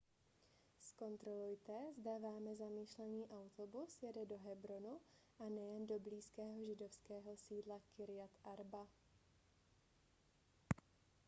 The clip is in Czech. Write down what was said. zkontrolujte zda vámi zamýšlený autobus jede do hebronu a ne jen do blízkého židovského sídla kirjat arba